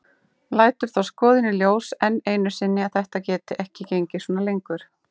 Lætur þá skoðun í ljós enn einu sinni að þetta geti ekki gengið svona lengur.